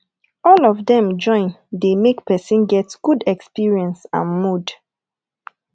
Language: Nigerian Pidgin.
all of them join de make persin get good experience and mood